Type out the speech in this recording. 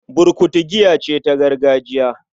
Burkutu giya ce ta gargajiya